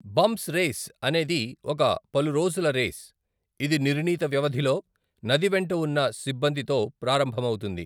Bumps race అనేది ఒక పలురోజుల రేస్, ఇది నిర్ణీత వ్యవధిలో నది వెంట ఉన్న సిబ్బంది తో ప్రారంభమవుతుంది.